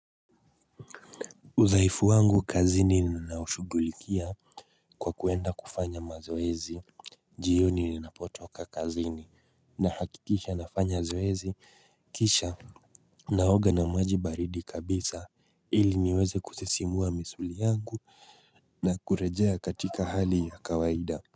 Udhaifu wangu kazini ninaushugulikia kwa kuenda kufanya mazoezi jioni ninapotoka kazini nahakikisha nafanya zoezi kisha naoga na maji baridi kabisa ili niweze kusisimua misuli yangu na kurejea katika hali ya kawaida.